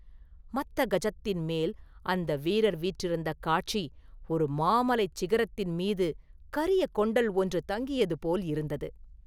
மத்தகஜத்தின் மேல் அந்த வீரர் வீற்றிருந்த காட்சி, ஒரு மாமலைச் சிகரத்தின் மீது கரியகொண்டல் ஒன்று தங்கியது போல் இருந்தது.